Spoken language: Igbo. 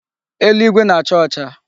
Eluigwe na-acha ọcha.